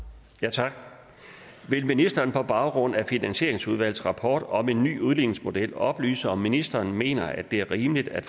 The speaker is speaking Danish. tak vil ministeren på baggrund af finansieringsudvalgets rapport om en ny udligningsmodel oplyse om ministeren mener at det er rimeligt at